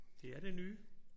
Det er det nye